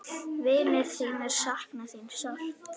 Vinir þínir sakna þín sárt.